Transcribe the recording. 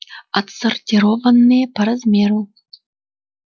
отсортированные по размеру